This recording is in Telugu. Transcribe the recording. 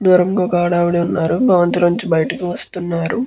దూరంగా ఒక ఆడవిడ ఉన్నారు భవంతి నించి బయటికి వస్తున్నారు.